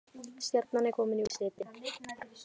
Stjarnan er komin í úrslitin